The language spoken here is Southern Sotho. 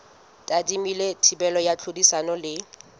tadimilwe thibelo ya tlhodisano le